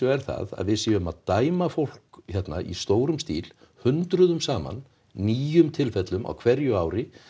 er það að við séum að dæma fólk hér í stórum stíl hundruðum saman nýjum tilfellum á hverju ári